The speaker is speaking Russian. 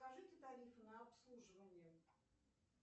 покажите тарифы на обслуживание